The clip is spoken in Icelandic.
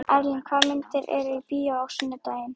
Erlen, hvaða myndir eru í bíó á sunnudaginn?